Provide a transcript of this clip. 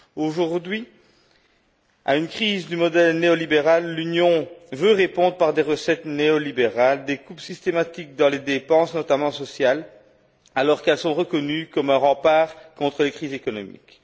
Aujourd'hui, à une crise du modèle néolibéral, l'Union veut répondre par des recettes néolibérales, des coupes systématiques dans les dépenses, notamment sociales, alors qu'elles sont reconnues comme un rempart contre les crises économiques.